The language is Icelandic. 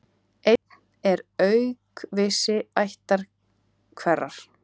Einn er aukvisi ættar hverrar.